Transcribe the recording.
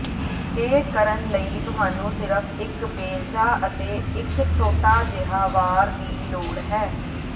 ਇਹ ਕਰਨ ਲਈ ਤੁਹਾਨੂੰ ਸਿਰਫ ਇੱਕ ਬੇਲਚਾ ਅਤੇ ਇੱਕ ਛੋਟਾ ਜਿਹਾ ਵਾਰ ਦੀ ਲੋੜ ਹੈ